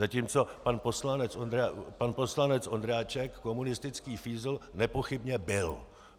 Zatímco pan poslanec Ondráček komunistický fízl nepochybně byl.